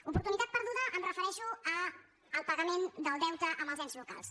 oportunitat perduda em refereixo al pagament del deute amb els ens locals